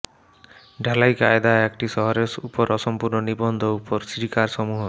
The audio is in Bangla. ঢালাই কায়দা একটি শহরের উপর অসম্পূর্ণ নিবন্ধ উপর স্টিকারসমূহ